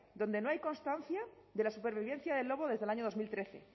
donde no hay constancia de la supervivencia del lobo desde el año dos mil trece